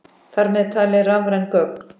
Þar með talið rafræn gögn.